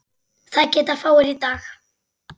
Það geta fáir í dag.